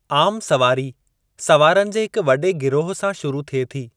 आम सवारी सवारनि जे हिक वॾे गिरोह सां शुरू थिए थी।